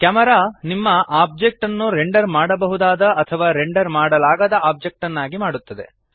camera ನಿಮ್ಮ object ಅನ್ನು render ಮಾಡಬಹುದಾದ ಅಥವಾ ರೆಂಡರ್ ಮಾಡಲಾಗದ ಆಬ್ಜೆಕ್ಟ್ ನ್ನಾಗಿ ಮಾಡುತ್ತದೆ